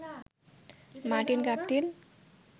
Martin Guptill